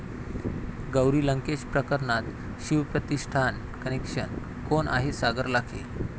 गौरी लंकेश प्रकरणात शिवप्रतिष्ठान कनेक्शन...! कोण आहे सागर लाखे?